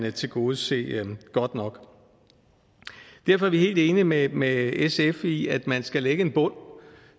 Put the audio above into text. ikke tilgodese godt nok derfor er vi helt enige med med sf i at man skal lægge en bund